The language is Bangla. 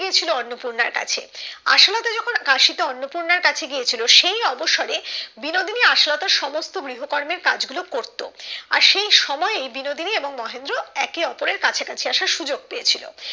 গিয়েছিলো অন্নপূর্ণার কাছে আশালতা যখন কাশি তে অন্নপূর্ণার কাছে গিয়েছিলো সেই অবসরে বিনোদিনী আশালতার সমস্ত ভৃগু কর্মের কাজ গুলো করতো আর সেই সময় ওই বিনোদিনী এবং মহেন্দ্র একে ওপরের কাছাকছি আসার সুযোগ পেয়েছিলো